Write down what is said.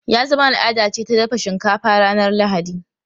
Ya zama al’ada ce ta dafa shinkafa ranar Lahadi.